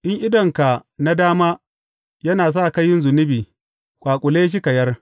In idonka na dama yana sa ka yin zunubi, ƙwaƙule shi ka yar.